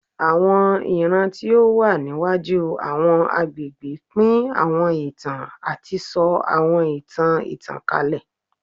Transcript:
Awọn iran ti o wa niwaju awọn agbegbe pin awọn itan ati sọ awọn itan itankalẹ